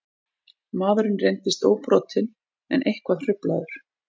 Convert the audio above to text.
Maðurinn reyndist óbrotinn en eitthvað hruflaður